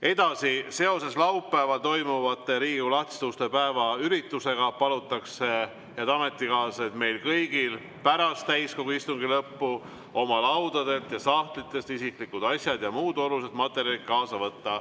Edasi, seoses laupäeval toimuva Riigikogu lahtiste uste päeva üritusega palutakse, head ametikaaslased, meil kõigil pärast täiskogu istungi lõppu oma laudadelt ja sahtlitest isiklikud asjad ja muud olulised materjalid kaasa võtta.